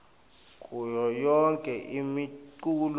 kuyo yonkhe imiculu